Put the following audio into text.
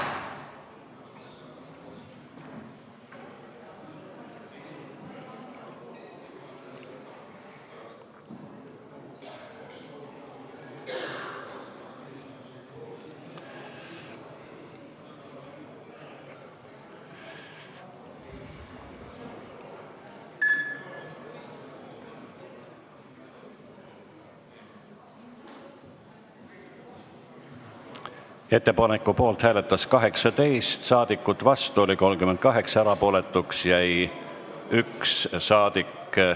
Hääletustulemused Ettepaneku poolt hääletas 18 saadikut, vastu oli 38, erapooletuks jäi 1.